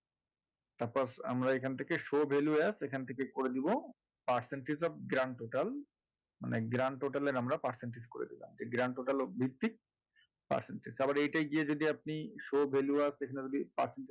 তারপর আমরা এখান থেকে show value as এখান থেকে করে দেব percentage of grand total মানে grand total এর আমরা percentage করে দিলাম এই grand total ভিত্তিক percentage আবার এইটাই গিয়ে যদি আপনি show value as এখানে যদি percentage